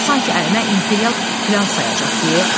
Sanki əlimə imperial filan sayacaqdı.